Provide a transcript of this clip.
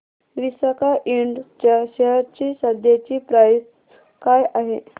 विसाका इंड च्या शेअर ची सध्याची प्राइस काय आहे